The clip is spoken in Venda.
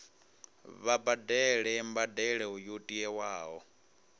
vha badele mbadelo yo tiwaho